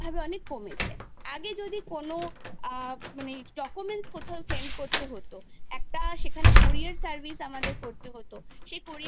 আমাদের সময় যখন মানে আমরা যখন পড়াশোনা করেছি তখনকার শিক্ষাব্যবস্থার সঙ্গে বর্তমান যুগের শিক্ষাব্যবস্থার প্রচুর আমূল পরিবর্তন ঘটেছে